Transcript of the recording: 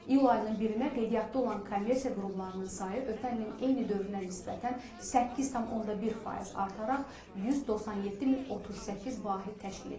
İyul ayının 1-nə qeydiyyatda olan kommersiya qurumlarının sayı ötən ilin eyni dövrünə nisbətən 8,1 faiz artaraq 197038 vahid təşkil edib.